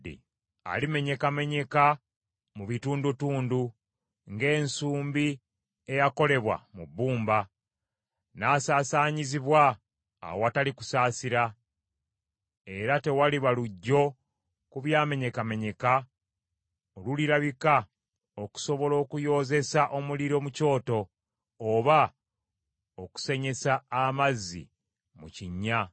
Alimenyekamenyeka mu bitundutundu ng’ensumbi eyakolebwa mu bbumba, n’asaasaanyizibwa awatali kusaasira, era tewaliba luggyo ku byamenyekamenyeka olulirabika okusobola okuyoozesa omuliro mu kyoto, oba okusenyesa amazzi mu kinnya.”